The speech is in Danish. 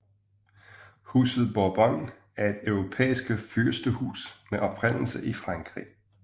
Huset Bourbon er et europæisk fyrstehus med oprindelse i Frankrig